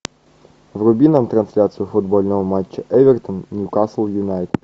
вруби нам трансляцию футбольного матча эвертон ньюкасл юнайтед